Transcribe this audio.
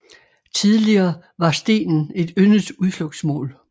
Tidligere var stenen et yndet udflugtsmål